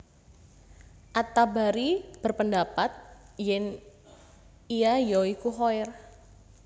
At Tabari berpendapat yèn ia ya iku Khair